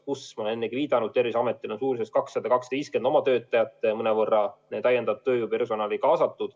Ma olen ennegi viidanud, et Terviseametil on kaasatud suurusjärgus 200–250 oma töötajat ja mõnevõrra täiendavat tööjõudu.